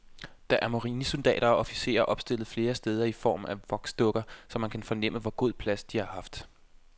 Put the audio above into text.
Der er marinesoldater og officerer opstillet flere steder i form af voksdukker, så man kan fornemme, hvor god plads de har haft.